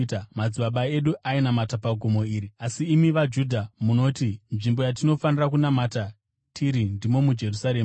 Madzibaba edu ainamata pagomo iri, asi imi vaJudha munoti, nzvimbo yatinofanira kunamata tiri ndimo muJerusarema.”